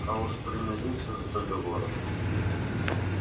а уж примириться с договором